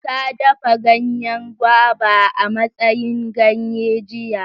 Ta dafa ganyen guava a matsayin ganye jiya.